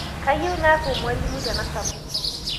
Kayieu naaku mwalimoi tanasapuku